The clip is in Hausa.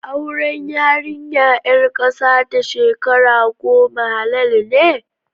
Auren yarinya ƴar ƙasa da shekara goma halal ne?